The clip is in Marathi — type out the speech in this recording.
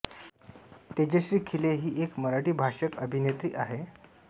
तेजश्री खेले हि एक मराठी भाषक अभिनेत्री आहे